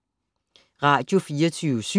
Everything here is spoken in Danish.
Radio24syv